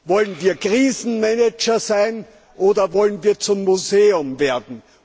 Wollen wir Krisenmanager sein oder wollen wir zum Museum werden?